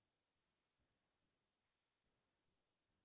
লগতে মই গজল শুনি ভাল পাওঁ